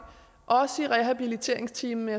også ligger i rehabiliteringsteamet